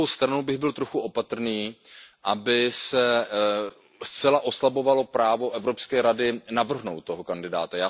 Na druhou stranu bych byl trochu opatrný, aby se zcela oslabovalo právo Evropské rady navrhnout toho kandidáta.